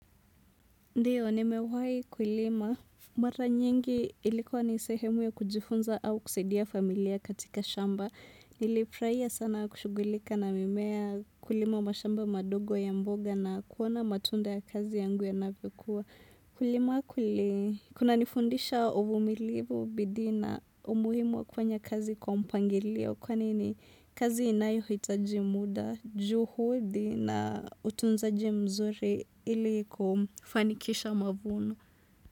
Ndiyo, nimewahi kulima. Mara nyingi ilikuwa ni sehemu ya kujifunza au kusaidia familia katika shamba. Nilifurahia sana kushughulika na mimea kulima mashamba madogo ya mboga na kuona matunda ya kazi yangu yanavyokuwa. Kulima kuli, kuna nifundisha uvumilivu bidii na umuhimu wa kufanya kazi kwa mpangilio. Kwani ni kazi inayohitaji muda, juhudi na utunzaji mzuri ili kufanikisha mavuno.